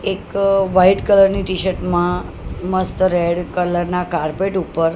એક white colour ની T shirt માં મસ્ત રેડ કલર ના કાર્પેટ ઉપર --